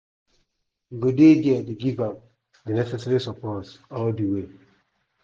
we go dey dia dey give am di necessary support all di way."